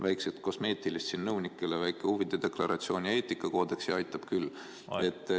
Väikesed kosmeetilised muudatused, nõunikele väike huvide deklaratsioon ja eetikakoodeks ning aitab küll.